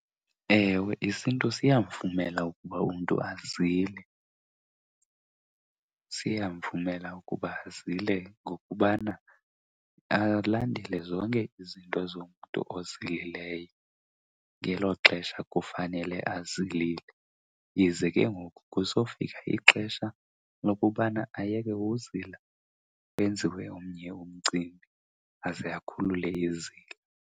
Ewe, isiNtu siyamvumela ukuba umntu azile. Siyamvumela ukuba azile ngokubana alandele zonke izinto zomntu ozilileyo ngelo xesha kufanele azilile. Ize ke ngoku kusofika ixesha lokubana ayeke uzila kwenziwe omnye umcimbi aze akhulule izila.